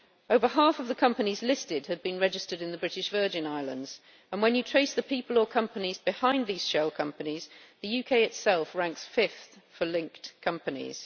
Over half of the companies listed had been registered in the British Virgin Islands, and when you trace the people or companies behind these shell companies the UK itself ranks fifth for linked companies.